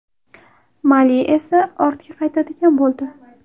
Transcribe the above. Mali esa ortga qaytadigan bo‘ldi.